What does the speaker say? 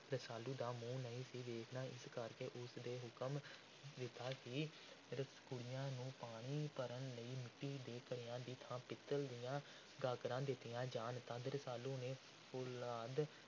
ਰਸਾਲੂ ਦਾ ਮੂੰਹ ਨਹੀਂ ਸੀ ਵੇਖਣਾ, ਇਸ ਕਰਕੇ ਉਸ ਨੇ ਹੁਕਮ ਦਿੱਤਾ ਕਿ ਕੁੜੀਆਂ ਨੂੰ ਪਾਣੀ ਭਰਨ ਲਈ ਮਿੱਟੀ ਦੇ ਘੜਿਆਂ ਦੀ ਥਾਂ ਪਿੱਤਲ ਦੀਆਂ ਗਾਗਰਾਂ ਦਿੱਤੀਆਂ ਜਾਣ। ਤਦ ਰਸਾਲੂ ਨੇ ਫੌਲਾਦ